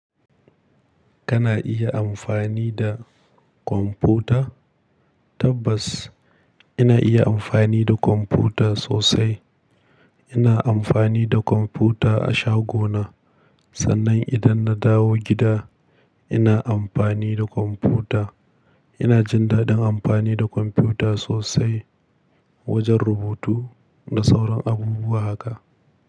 Kana iya amfani da kwamfuta? Tabbas ina iya amfani da kwamfuta sosai. Ina amfani da kwamfuta a shagona. Sannan idan na dawo gida ina amfani da kwamfuta. Ina jin daɗin amfani da kwamfuta sosai wajen rubutu da sauran abubuwa haka.